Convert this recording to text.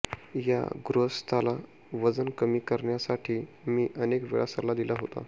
या गृहस्थाला वजन कमी करण्यासाठी मी अनेक वेळा सल्ला दिला होता